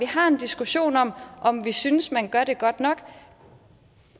har en diskussion om om vi synes man gør det godt nok